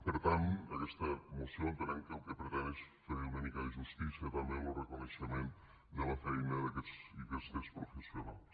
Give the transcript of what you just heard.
per tant aquesta moció entenem que el que pretén és fer una mica de justícia també en lo reconeixement de la feina d’aquests i aquestes professionals